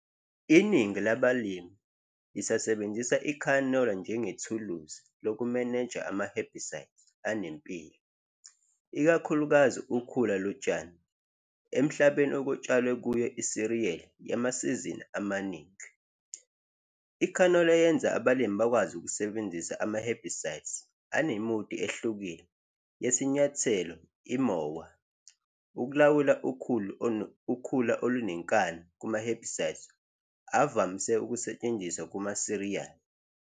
Iningi labalimi lisasebenzisa ikhanola njengethuluzi lokumeneja ama-herbicide anempilo, ikakhulukazi ukhula lotshani, emhlabeni okutshalwe kuyo isiriyeli yamasizini amaningi. Ikhanola yenza abalimi bakwazi ukusebenzisa ama-herbicides anemudi ehlukile yesinyathelo, imowa, ukulawula ukhula ukhula olunenkani kuma-herbicides ovamise ukusetshenziswa kumasiriyali.